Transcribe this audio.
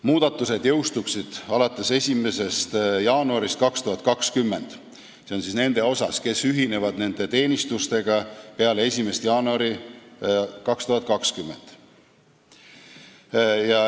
Muudatused jõustuksid alates 1. jaanuarist 2020 ja see puudutab neid, kes asuvad teenistusse peale 1. jaanuari 2020.